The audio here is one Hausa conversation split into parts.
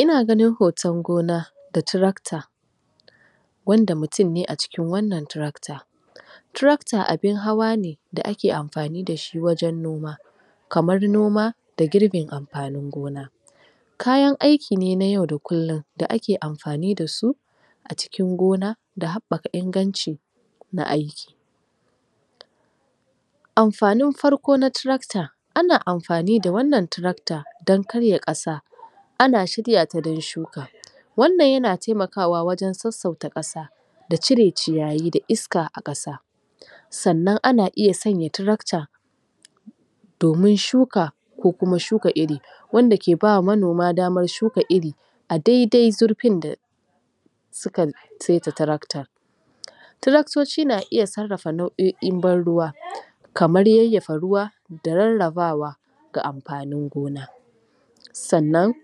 Ina ganin hoton gona da tractor wanda mutum ne a cikin wannan tracter. Tracter abin hawa ne da ake amfani da shi wajen noma kamar noma da gurbin amfanin noma, kayan aiki ne na yau da kullum da ake amfani da su a cikin gona da habbaka inganci na aiki. Amfanin farko na tracter, ana amfani da wannan tracter dan karya kasa ana shirya ta dan shuka. wannan yana taimakawa wajen sassauta kasa da cire ciyayi da iska a kasa sannan ana iya sanya tracter domin shuka ko kuma shuka iri, wanda ke bawa manoma damar shuka iri a daidai zurfin da suka saita tracter. Tractoci na iya sarrafa nau'o'in ban ruwa kamar yayyafa ruwa da rarrabawa ga amfanin gona sannan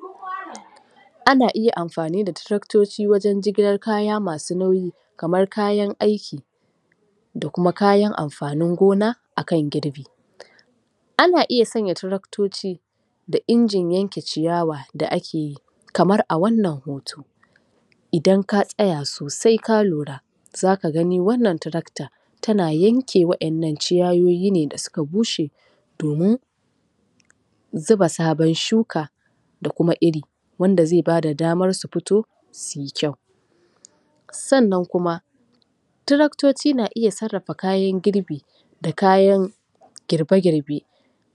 ana iya amfani da tractoci wajen jigilar kaya masu nauyi kamar kayan aiki da kuma kayan amfanin gona a kan Ana iya sanya tractoci da injin yanke ciyawa da ake yi kamar a wannan hoto Idan ka tsaya sosai ka lura za ka gani wannan tracter tana yanke wadannan ciyayi ne da suka bushe domin zuba sabon shuka da kuma iri wanda zai ba da damar su fito su yi kyau. Sannan kuma tractoci na iya sarrafa kayan girbi da kayan girbe girbe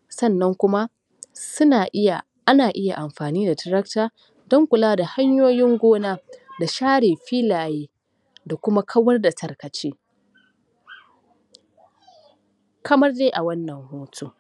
sannan kuma suna iya ana iya amfani da tracter dan kula da kunyoyin gona da share filaye da kuma kawar da tarkace kamar dai a wannan hoto.